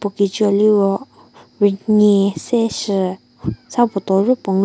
puo keche liro rünyie se chü sa bottle yo puo ngu --